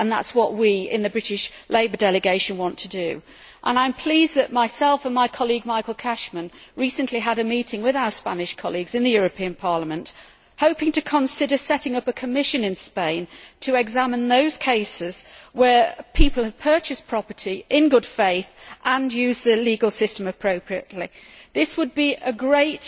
That is what we, in the British Labour delegation, want to do. I am pleased that my colleague, Michael Cashman, and I recently had a meeting with our Spanish colleagues in the European Parliament in the hope of setting up a commission in Spain to examine those cases in which people have purchased property in good faith and used the legal system appropriately. This would be a great